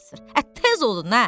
Ə tez olun hər.